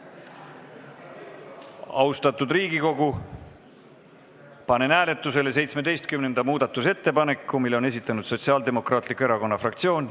Austatud Riigikogu, panen hääletusele 17. muudatusettepaneku, mille on esitanud Sotsiaaldemokraatliku Erakonna fraktsioon.